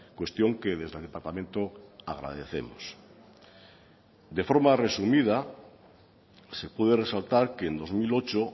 cuestión que desde el departamento agradecemos de forma resumida se puede resaltar que en dos mil ocho